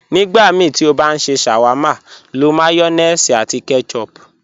Nígbàmíí tí o bá n ṣẹ́ sháwárma, ló mayonéèsì àti ketchup.